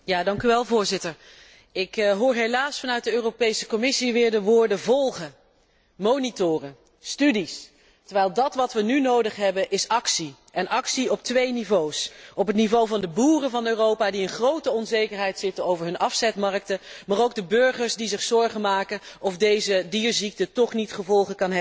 Ik hoor helaas vanuit de Europese Commissie weer de woorden volgen, monitoren, studies, terwijl wat wij nu nodig hebben is actie, en actie op twee niveaus, ten aanzien van de boeren van Europa, die in grote onzekerheid zitten over hun afzetmarkten, maar ook van de burgers, die zich bezorgd afvragen of deze dierziekte toch niet gevolgen kan hebben voor de volksgezondheid.